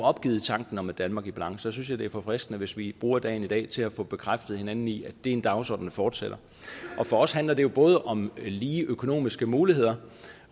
opgivet tanken om et danmark i balance og så synes jeg det er forfriskende hvis vi bruger dagen i dag til at få bekræftet hinanden i at det er en dagsorden der fortsætter for os handler det jo både om lige økonomiske muligheder